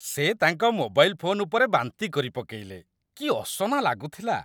ସେ ତାଙ୍କ mobile phone ଉପରେ ବାନ୍ତି କରିପକେଇଲେ । କି ଅସନା ଲାଗୁଥିଲା!